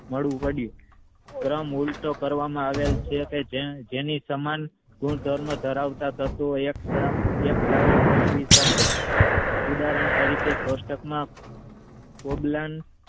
મળું પડ્યું કરવામાં આવ્યું કે જેની સમાન ગુણધર્મો ધરાવતા તત્વો એક સાથે ગોઠવી શકે ઉદાહરણ તરીકે કોષ્ટકમાં